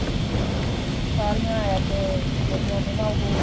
ਸਾਰੀਆ APP ਜਿਹੜੀਆ ਨੇ ਨਾ ਉਹ